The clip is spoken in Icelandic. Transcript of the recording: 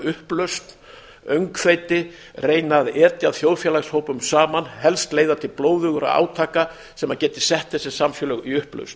upplausn öngþveiti reyna að etja þjóðfélagshópum saman helst leiða til blóðugra átaka sem geti sett þessi samfélög í upplausn